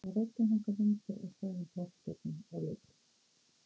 Á veggjunum hanga myndir af frægum poppstjörnum og leikurum.